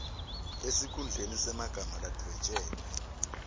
esikhundleni semagama ladvwetjelwe